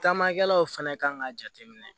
Taamakɛlaw fɛnɛ kan ka jateminɛ